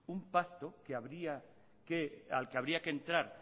un pacto al que habría que entrar